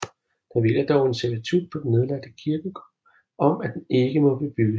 Der hviler dog en servitut på den nedlagte kirkegård om at den ikke må bebygges